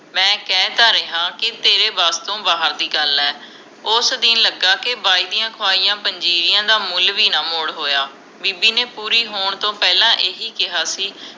ਮੈਂ ਕਹਿ ਤਾਂ ਰਿਹਾ ਕੇ ਤੇਰੇ ਵਸ ਤੋਂ ਬਾਹਰ ਦੀ ਗੱਲ ਆ ਉਸ ਦਿਨ ਲਗਾ ਕੇ ਬਾਈ ਦੀਆ ਖੁਆਇਆ ਪੰਜੀਰੀਆਂ ਦਾ ਮੁੱਲ ਵੀ ਨਾ ਮੋੜ ਹੋਇਆ ਬੀਬੀ ਨੇ ਪੂਰੀ ਹੋਣ ਤੋਂ ਪਹਿਲਾ ਇਹੀ ਕਿਹਾ ਸੀ